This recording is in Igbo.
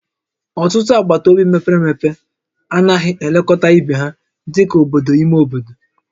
Ọtụtụ agbata obi mepere emepe anaghị elekọta ibe ha dị ka obodo ime obodo